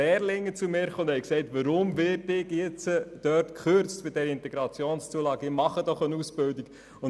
Lehrlinge kamen zu mir und fragten, weshalb sie nun bei den IZU gekürzt werden, denn sie würden doch eine Ausbildung machen.